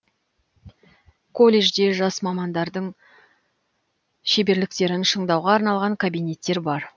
колледжде жас мамандардың шеберліктерін шыңдауға арналған кабинеттер бар